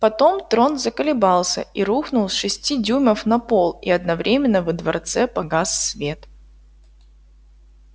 потом трон заколебался и рухнул с шести дюймов на пол и одновременно во дворце погас свет